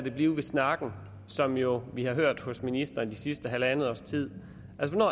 det blive ved snakken som vi jo har hørt fra ministeren det sidste halvandet års tid altså